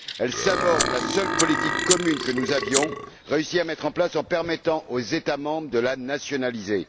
Elle saborde la seule politique commune que nous avions réussi à mettre en place en permettant aux États membres de la nationaliser.